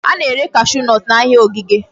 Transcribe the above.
A na-ere cashew nut n'ahịa ogige.